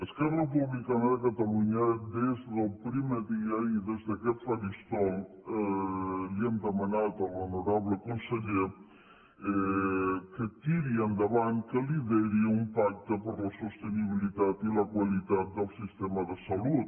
esquerra republicana de catalunya des del primer dia i des d’aquest faristol li hem demanat a l’honorable conseller que tiri endavant que lideri un pacte per la sostenibilitat i la qualitat del sistema de salut